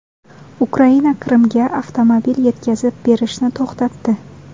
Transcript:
Ukraina Qrimga avtomobil yetkazib berishni to‘xtatdi.